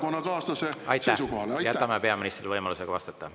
On juba 30 sekundit üle, jätame peaministrile võimaluse vastata.